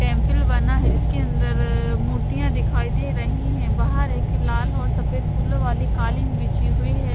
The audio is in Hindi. टेम्पल बना है जिसके अन्दर मूर्तियाँ दिखाई दे रही हैं बाहर एक लाल और सफ़ेद फूलों वाली कालीन बिछी हुई है।